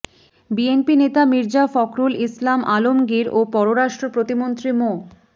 BNP নেতা মির্জা ফখরুল ইসলাম আলমগীর ও পররাষ্ট্র প্রতিমন্ত্রী মো